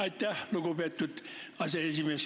Aitäh, lugupeetud aseesimees!